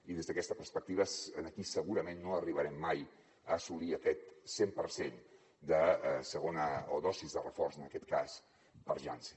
i des d’aquesta perspectiva aquí segurament no arribarem mai a assolir aquest cent per cent de segona o dosi de reforç en aquest cas per janssen